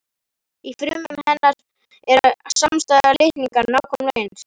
Í frumum hennar eru samstæðir litningar nákvæmlega eins.